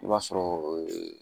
I b'a sɔrɔ